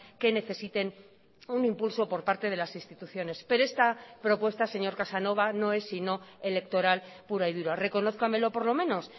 que necesiten un impulso por parte de las instituciones pero esta propuesta señor casanova no es sino electoral pura y dura reconózcamelo por lo menos